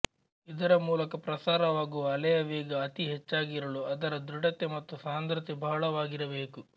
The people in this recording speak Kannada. ಇದರ ಮೂಲಕ ಪ್ರಸಾರವಾಗುವ ಅಲೆಯ ವೇಗ ಅತಿ ಹೆಚ್ಚಾಗಿರಲು ಅದರ ದೃಢತೆ ಮತ್ತು ಸಾಂದ್ರತೆ ಬಹಳವಾಗಿರಬೇಕು